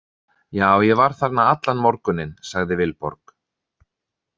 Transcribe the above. Já, ég var þarna allan morguninn, sagði Vilborg.